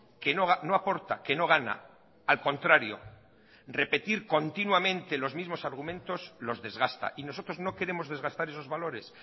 que no aporta que no gana al contrario repetir continuamente los mismos argumentos los desgasta y nosotros no queremos desgastar esos valores